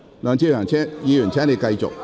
梁志祥議員，請你繼續提問。